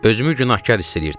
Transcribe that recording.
Özümü günahkar hiss eləyirdim.